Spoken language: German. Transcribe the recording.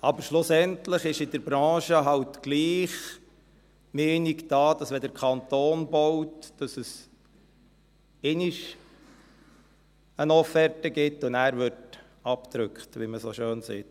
Aber schlussendlich ist in der Branche eben doch die Meinung da, dass wenn der Kanton baut, es einmal eine Offerte gibt und dann abgedrückt wird, wie man so schön sagt.